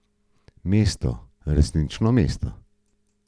Mesto, resnično mesto.